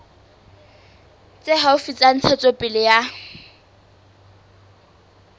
tse haufi tsa ntshetsopele ya